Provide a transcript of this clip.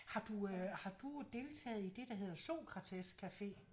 Har du øh har du deltaget i det der hedder Sokratescafé?